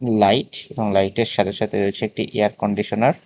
Light এবং লাইটের সাথে সাথে রয়েছে একটি এয়ার কন্ডিশনার ।